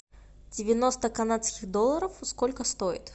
девяносто канадских долларов сколько стоит